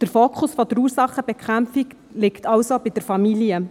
Der Fokus der Ursachenbekämpfung liegt also bei der Familie.